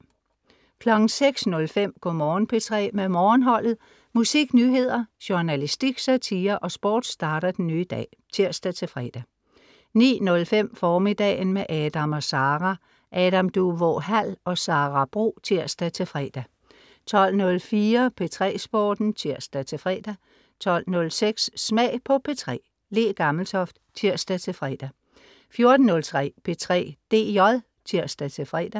06.05 Go' Morgen P3 med Morgenholdet. musik, nyheder, journalistik, satire og sport starter den nye dag (tirs-fre) 09.05 Formiddagen med Adam & Sara. Adam Duvå Hall og Sara Bro. (tirs-fre) 12.04 P3 Sporten (tirs-fre) 12.06 Smag på P3. Le Gammeltoft (tirs-fre) 14.03 P3 DJ (tirs-fre)